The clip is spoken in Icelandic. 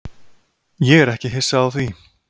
Ég er ekki hissa á því.